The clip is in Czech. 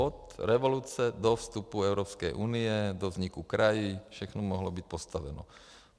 Od revoluce do vstupu Evropské unie, do vzniku krajů všechno mohlo být postaveno.